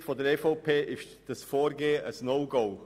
Aus Sicht der EVP ist dieses Vorgehen ein No-Go.